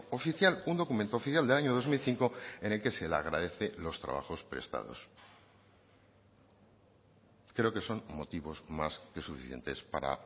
oficial un documento oficial del año dos mil cinco en el que se le agradece los trabajos prestados creo que son motivos más que suficientes para